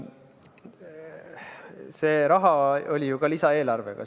See raha tuli ju samuti lisaeelarvega.